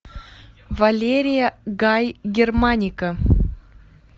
валерия гай германика